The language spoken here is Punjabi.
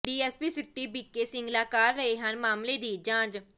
ਡੀਐਸਪੀ ਸਿਟੀ ਬੀਕੇ ਸਿੰਗਲਾ ਕਰ ਰਹੇ ਹਨ ਮਾਮਲੇ ਦੀ ਜਾਂਚ